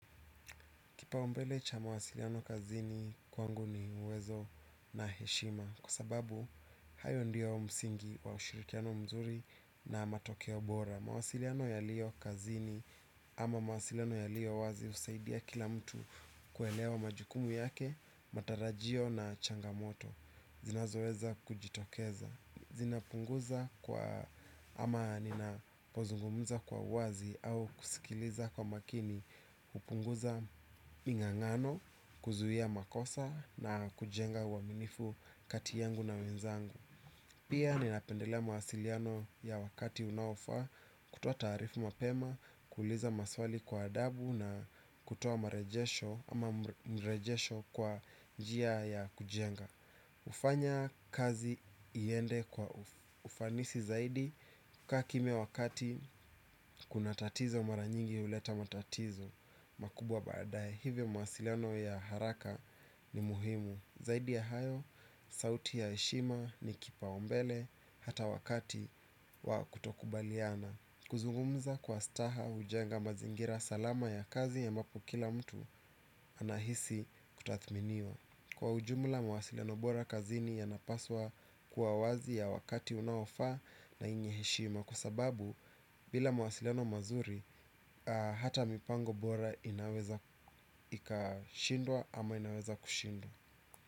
Kipaumbele cha mawasiliano kazini kwangu ni uwezo na heshima. Kwa sababu, hayo ndio msingi wa ushirikiano mzuri na matokeo bora. Mawasiliano yaliyo kazini ama mawasiliano yaliyo wazi husaidia kila mtu kuelewa majukumu yake, matarajio na changamoto. Zinazoweza kujitokeza. Zinapunguza kwa ama ninapozungumza kwa uwazi au kusikiliza kwa makini. Hupunguza mingangano kuzuia makosa na kujenga uaminifu kati yangu na wenzangu. Pia ninapendelea mawasiliano ya wakati unaofaa kutoa taarifa mapema. Kuuliza maswali kwa adabu na kutoa mrejesho ama mrejesho kwa njia ya kujenga hufanya kazi iende kwa ufanisi zaidi kukaa kimya wakati kuna tatizo mara nyingi huleta matatizo makubwa baadae hivyo mawasiliano ya haraka ni muhimu. Zaidi ya hayo, sauti ya heshima ni kipaumbele hata wakati wa kutokubaliana. Kuzungumza kwa staha hujenga mazingira salama ya kazi ambapo kila mtu anahisi kutathminiwa. Kwa ujumla mawasiliano bora kazini yanapaswa kuwa wazi ya wakati unaofaa na yenye heshima. Kwa sababu bila mawasiliano mazuri hata mipango bora inaweza ikashindwa ama inaweza kushindwa.